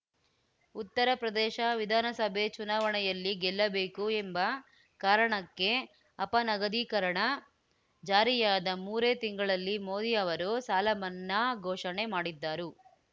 ಉತ್ತರಪ್ರದೇಶ ವಿಧಾನಸಭೆ ಚುನಾವಣೆಯಲ್ಲಿ ಗೆಲ್ಲಬೇಕು ಎಂಬ ಕಾರಣಕ್ಕೆ ಅಪನಗದೀಕರಣ ಜಾರಿಯಾದ ಮೂರೇ ತಿಂಗಳಲ್ಲಿ ಮೋದಿ ಅವರು ಸಾಲ ಮನ್ನಾ ಘೋಷಣೆ ಮಾಡಿದ್ದರು